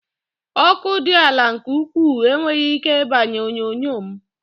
Ọkụ dị ala nke ukwuu enweghị ike igbanye onyonyo m